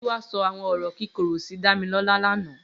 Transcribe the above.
Giwa sọ awọn ọrọ kikóró si Damilola làná